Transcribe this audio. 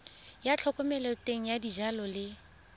ya thomeloteng ya dijalo le